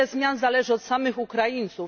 Wiele zmian zależy od samych Ukraińców.